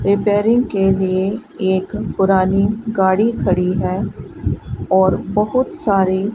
repairing के लिए एक पुरानी गाड़ी खड़ी है और बहुत सारी--